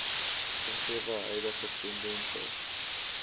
gegewe huidige tendense